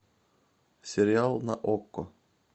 сериал на окко